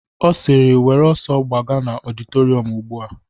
Ọ sịrị, "Were ọsọ gbaga n'ọditorium ugbu a